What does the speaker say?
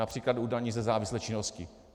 Například u daní ze závislé činnosti.